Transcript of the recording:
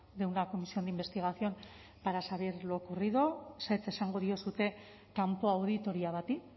de una comisión de investigación para saber lo ocurrido ezetz esango diozue kanpo auditoria bati